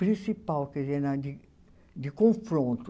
principal, quer dizer, na de de confronto.